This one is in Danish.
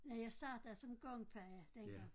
Nej jeg sad der som gangpige dengang